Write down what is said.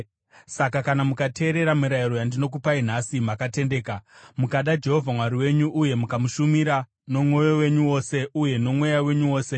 Saka kana mukateerera mirayiro yandinokupai nhasi makatendeka, mukada Jehovha Mwari wenyu uye mukamushumira nomwoyo wenyu wose uye nomweya wenyu wose,